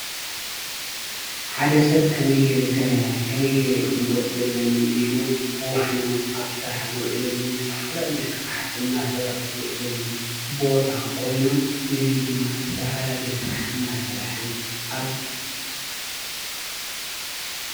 ሓደ ሰብ ከመይ ገይረ ሰሪሐ ከመይ ገይረ እየ ክልወጥ ዘለኒ ኢሉ ወፊሩ ኣብ ስራሕ ዝውዕለሉን ዝተፈላለየ ስራሕቲ አንዳሰርሐ ዝውዕለሉን ቦታ ኮይኑ እዚ ድማ ዝተፈላለየ ስራሕቲ እናስርሐን ኣብ ።